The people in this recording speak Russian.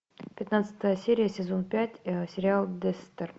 пятнадцатая серия сезон пять сериал декстер